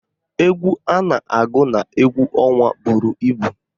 Égwú a na-agụ n'égwú ọnwa buru ibu